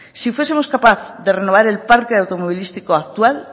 si fuesemos capaces de renovar el parque automovilístico actual